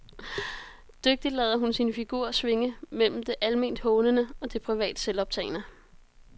Dygtigt lader hun sin figur svinge mellem det alment hånende og det privat selvoptagne.